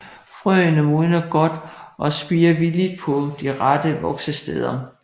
Frøene modner godt og spirer villigt på de rette voksesteder